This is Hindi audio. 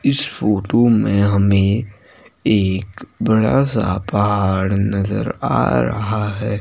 इस फोटो में हमें एक बड़ा सा पहाड़ नजर आ रहा है।